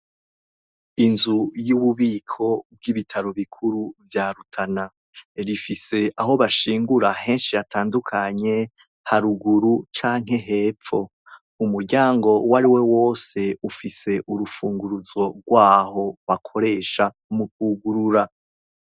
Inzu y’ububiko bw’ibitaro bikuru vya Rutana. Rifise aho bashingura henshi hatandukanye henshi cane, haruguru canke hepfo. Umuryango uwariwo wose ufise urufunguruzo rwaho bakoresha mukwugurura.